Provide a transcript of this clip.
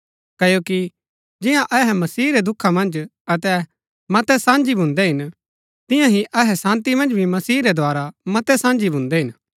क्ओकि जियां अहै मसीह रै दुखा मन्ज अहै मतै साझी भून्दै हिन तियां ही अहै शान्ती मन्ज भी मसीह रै द्धारा मतै साझी भून्दै हिन